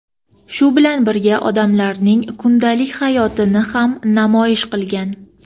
shu bilan birga odamlarning kundalik hayotini ham namoyish qilgan.